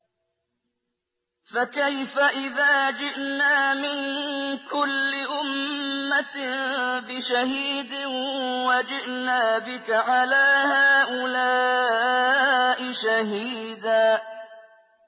فَكَيْفَ إِذَا جِئْنَا مِن كُلِّ أُمَّةٍ بِشَهِيدٍ وَجِئْنَا بِكَ عَلَىٰ هَٰؤُلَاءِ شَهِيدًا